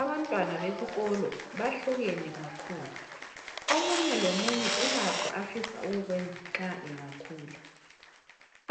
Abantwana besikolo bahlukene kakhulu, omunye lomunye ulakho afisa ukukwenza nxa engakhula